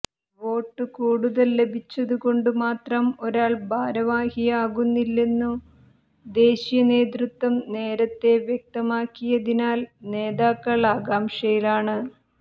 വോട്ടു കൂടുതൽ ലഭിച്ചതുകൊണ്ടു മാത്രം ഒരാൾ ഭാരവാഹിയാകില്ലെന്നു ദേശീയ നേതൃത്വം നേരത്തെ വ്യക്തമാക്കിയതിനാൽ നേതാക്കൾ ആകാംക്ഷയിലാണ്